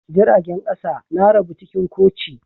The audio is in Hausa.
Jiragen kasa na rabu cikin koci.